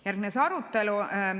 Järgnes arutelu.